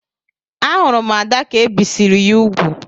A hurum Ada ka ebisiri ya úgwù.